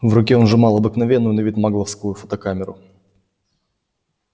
в руке он сжимал обыкновенную на вид магловскую фотокамеру